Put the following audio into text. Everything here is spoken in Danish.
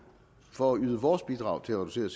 for at yde vores bidrag til at reducere